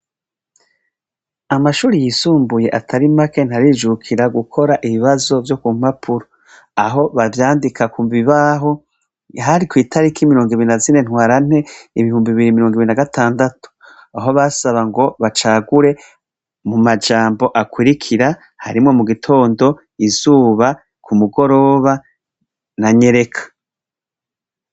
Amashuri yisumbuye atari make ntarijukira gukora ibibazo vyo ku mpapuro. Aho bavyandika ku bibaho, hari kw'itariki mirongo ibiri na zine twarante, ibihumbi bibiri na mirongo ibiri na gatangatu. Aho basaba ngo bacagure mu majambo akurikira, harimwo mu gitondo, izuba, umugoroba, na nyereka.